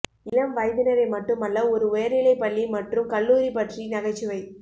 இளம் வயதினரை மட்டுமல்ல ஒரு உயர்நிலைப் பள்ளி மற்றும் கல்லூரி பற்றி நகைச்சுவை